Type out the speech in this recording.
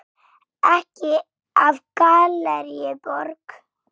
Ekki af Gallerí Borg.